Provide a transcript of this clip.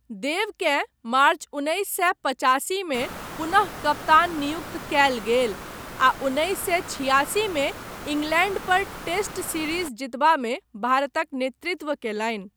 देवकेँ मार्च उन्नैस सए पचासीमे पुनः कप्तान नियुक्त कयल गेल आ उन्नैस सए छिआसीमे इंग्लैंड पर टेस्ट सीरीज जीतबामे भारतक नेतृत्व कयलनि।